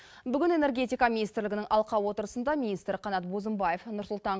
бүгін энергетика министрлігінің алқа отырысында министр қанат бозымбаев нұр сұлтан